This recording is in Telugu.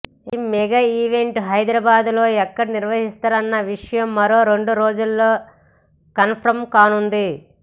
ఇక మెగా ఈవెంట్ ను హైద్రాబాద్ లో ఎక్కడ నిర్వహిస్తారన్న విషయం మరో రెండు రోజుల్లో కన్ఫర్మ్ కానుంది